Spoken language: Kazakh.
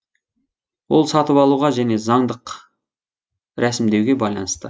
ол сатып алуға және заңдық рәсімдеуге байланысты